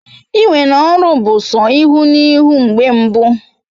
Iwe n'oru bu so ihu na ihu mgbe mbụ